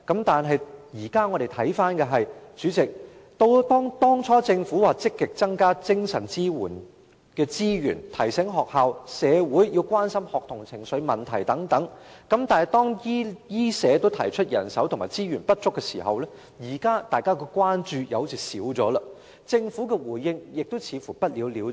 但是，主席，現時回頭看來，當初政府說積極增加精神支援的資源，提醒學校及社會要關心學童的情緒問題等；但是，當醫護及社福界均提出人手及資源不足時，因問題近有紓緩所以社會的關注似乎減少，而政府對此問題的態度也似乎不了了之。